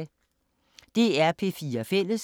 DR P4 Fælles